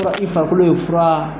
I farikolo in fura